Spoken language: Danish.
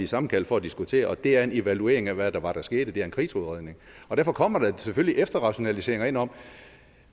sammenkaldt for at diskutere og det er en evaluering af hvad det var der skete det er en krigsudredning og derfor kommer der selvfølgelig efterrationaliseringer ind om